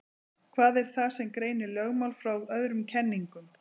Hvað er það sem greinir lögmál frá öðrum kenningum?